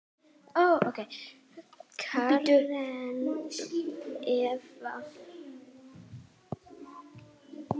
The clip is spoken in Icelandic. Karen Eva.